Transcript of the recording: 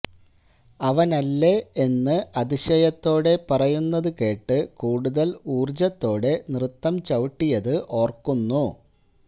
അവനല്ലേ എന്ന് അതിശയത്തോടെ പറയുന്നത് കേട്ട് കൂടുതല് ഊര്ജത്തോടെ നൃത്തം ചവിട്ടിയത് ഓര്ക്കുന്നു